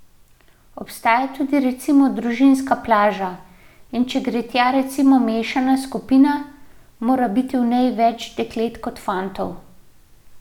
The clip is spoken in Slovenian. Obstaja tudi recimo družinska plaža, in če gre tja recimo mešana skupina, mora biti v njej več deklet kot fantov.